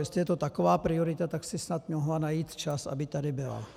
Jestli je to taková priorita, tak si snad mohla najít čas, aby tady byla.